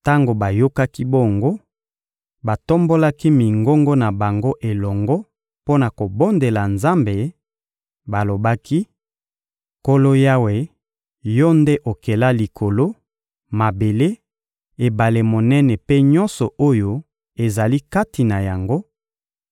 Tango bayokaki bongo, batombolaki mingongo na bango elongo mpo na kobondela Nzambe; balobaki: — Nkolo Yawe, Yo nde okela Likolo, mabele, ebale monene mpe nyonso oyo ezali kati na yango;